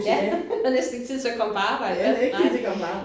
Ja man har næsten ikke tid til at komme på arbejde vel nej